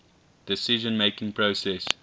decision making process